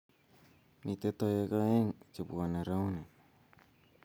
mito toek oeng' che bwoni rauni